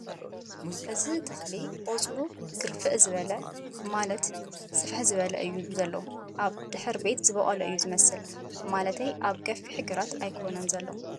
እዚ ተኽሊ ቖፅሉ ግርፍዕ ዝበለ ማለት ስፍሕ ዝበለ እዩ ዘሎ ኣብ ድሕርቤት ዝበቖለ እዩ ዝመስል፡ ማለተይ ኣብ ሰፊሕ ግራት ኣይኮነ ን ዘሎ ።